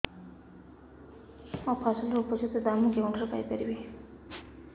ମୋ ଫସଲର ଉପଯୁକ୍ତ ଦାମ୍ ମୁଁ କେଉଁଠାରୁ ପାଇ ପାରିବି